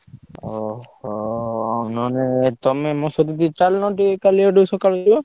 ଅହୋ! ହଁ ନହେଲେ ତମେ ମୋ ସହିତ ଟିକେ ଚାଲୁନ ଟିକେ କାଲିଆଡକୁ ସକାଳୁ ଯିବା।